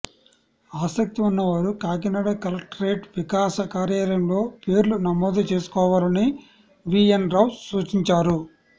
ఆసక్తి ఉన్నవారు కాకినాడ కలెక్టరేట్ వికాస కార్యాలయంలో పేర్లు నమోదు చేసుకోవాలని వీ ఎన్ రావు సూచించారు